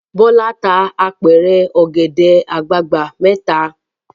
Bọ́lá tá apẹ̀rẹ̀ ọ̀gẹ̀dẹ̀ àgbagbà mẹ́ta.